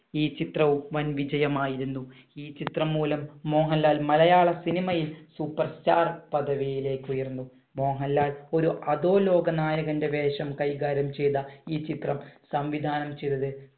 ഈ ചിത്രവും വൻ വിജയമായിരുന്നു. ഈ ചിത്രം മൂലം മോഹൻലാൽ മലയാള സിനിമയിൽ superstar പദവിയിലേക്ക് ഉയർന്നു. മോഹൻലാൽ ഒരു അധോലോകനായകന്‍റെ വേഷം കൈകാര്യം ചെയ്ത ഈ ചിത്രം സംവിധാനം ചെയ്തത്